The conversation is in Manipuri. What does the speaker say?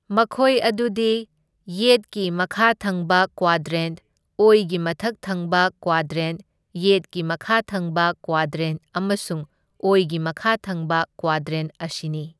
ꯃꯈꯣꯏ ꯑꯗꯨꯗꯤ ꯌꯦꯠꯀꯤ ꯃꯈꯥ ꯊꯪꯕ ꯀ꯭ꯋꯥꯗ꯭ꯔꯦꯟꯠ, ꯑꯣꯏꯒꯤ ꯃꯊꯛ ꯊꯪꯕ ꯀ꯭ꯋꯥꯗ꯭ꯔꯦꯟ, ꯌꯦꯠꯀꯤ ꯃꯈꯥ ꯊꯪꯕ ꯀ꯭ꯋꯥꯗ꯭ꯔꯦꯟꯠ ꯑꯃꯁꯨꯡ ꯑꯣꯏꯒꯤ ꯃꯈꯥ ꯊꯪꯕ ꯀ꯭ꯋꯥꯗ꯭ꯔꯦꯟꯠ ꯑꯁꯤꯅꯤ꯫